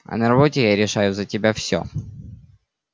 а на работе я решаю за тебя всё